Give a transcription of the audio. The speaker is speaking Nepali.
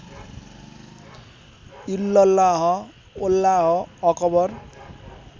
इल्लल्लाह वल्लाह अक्बर